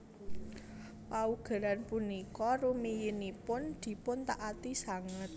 Paugeran punika rumiyinipun dipuntaati sanget